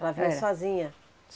Ela veio sozinha?